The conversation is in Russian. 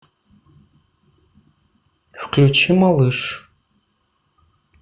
включи малыш